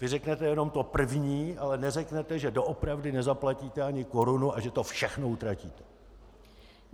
Vy řeknete jenom to první, ale neřeknete, že doopravdy nezaplatíte ani korunu a že to všechno utratíte.